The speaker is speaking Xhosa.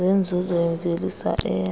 zenzuzo yemvelisa eya